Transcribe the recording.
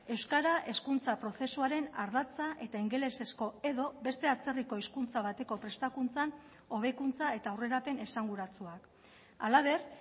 euskara hezkuntza prozesuaren ardatza eta ingelesezko edo beste atzerriko hizkuntza bateko prestakuntzan hobekuntza eta aurrerapen esanguratsuak halaber